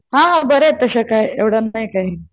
हाय हाय बऱ्या आहेत तशा काय एवढ्या नाही काय.